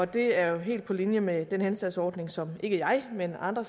det er jo helt på linje med den henstandsordning som ikke jeg men andre